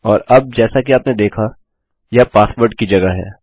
और अब जैसा कि आपने देखा यह पासवर्ड की जगह है